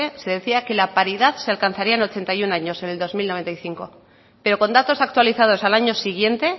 se decía que la paridad se alcanzaría en ochenta y uno años en el dos mil noventa y cinco pero con datos actualizados al año siguiente